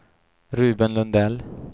Ruben Lundell